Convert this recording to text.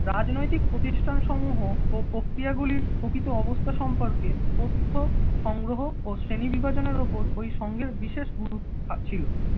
রাজনৈতিক প্রতিষ্ঠান সমূহ ও প্রক্রিয়া গুলির প্রকৃত অবস্থা সম্পর্কে তথ্য সংগ্রহ ও শ্রেণী বিভাজনের ওপর ওই সংঘের বিশেষ গুরুত্ব ছিল।